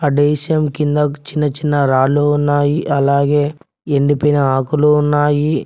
ఆ కింద చిన్నచిన్న రాళ్లు ఉన్నాయి అలాగే ఎండిపోయిన ఆకులు ఉన్నాయి.